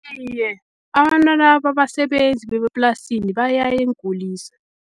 Iye, abantwana babasebenzi bemaplasini bayaya eenkulisa.